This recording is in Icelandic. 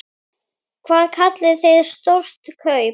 Hvað kallið þið stór kaup?